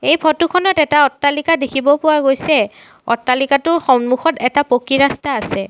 এই ফটো খনত এটা অট্টালিকা দেখিব পোৱা গৈছে অট্টালিকাটোৰ সন্মুখত এটা পকী ৰাস্তা আছে।